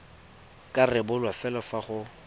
ka rebolwa fela fa go